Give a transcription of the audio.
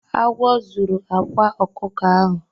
Agwo zuru akwa ọkụkọ ahụ.